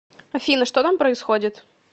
афина что там происходит